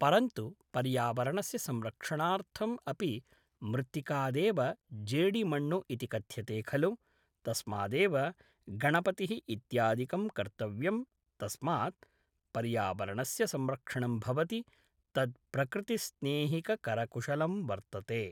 परन्तु पर्यावरणस्य संरक्षणार्थम् अपि मृत्तिकादेव जेडिमण्णु इति कथ्यते खलु तस्मादेव गणपतिः इत्यादिकं कर्तव्यं तस्मात् पर्यावरणस्य संरक्षणं भवति तद् प्रकृतिस्नेहिककरकुशलं वर्तते